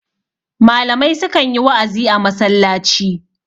malamai sukan yi wa'azi a masallaci